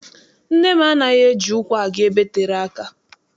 Nne m anaghị eji ụkwụ aga ebe tere aka.